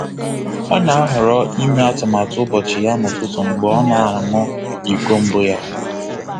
Ọ na-ahọrọ ime atụmatụ ụbọchị ya n'ụtụtụ mgbe ọ na-aṅụ iko mbụ ya.